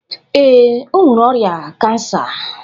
Ee, o nwere ọrịa kansa.